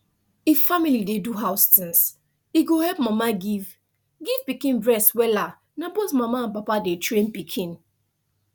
if family dey do house things e go help mama give give pikin breast wellas na both mama and papa dey train pikin